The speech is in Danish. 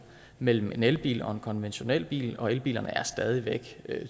mellem en elbil og en konventionel bil og elbilerne er stadig væk